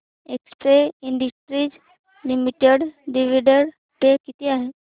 Excel Industries Limited dividend pay किती आहे